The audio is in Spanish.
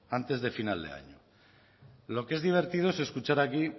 antes de final de año lo que es divertido es escuchar aquí